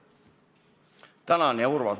Tänan, hea Urmas!